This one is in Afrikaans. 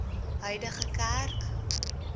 huidige kerk